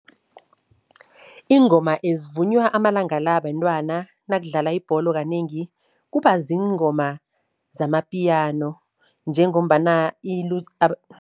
Iingoma ezivunywa amalanga la bentwana nakudlala ibholo kanengi, kuba ziingoma zamapiyano njengombana